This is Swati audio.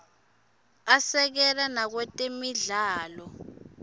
asekela nakwetemidlalo